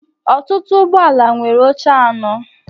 ọtụtụ ụgbọ ala nwere oche anọ